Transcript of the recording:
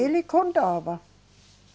Ele contava.